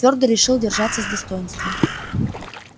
твёрдо решил держаться с достоинством